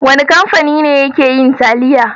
Wane kamfani ne yake yin taliya?